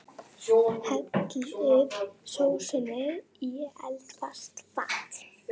Hellið sósunni í eldfast fat.